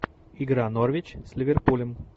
игра норвич с ливерпулем